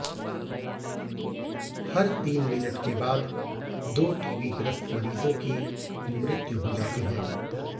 हर तीन मिनट के बाद दो टीबी ग्रस्त मरीज़ों की मृत्यु हो जाती है